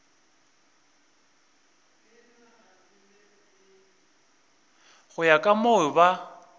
go ya ka moo ba